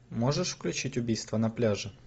можешь включить убийство на пляже